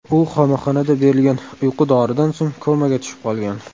U qamoqxonada berilgan uyqu doridan so‘ng komaga tushib qolgan.